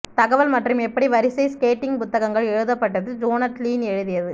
தகவல் மற்றும் எப்படி வரிசை ஸ்கேட்டிங் புத்தகங்கள் எழுதப்பட்டது ஜேனட் லின் எழுதியது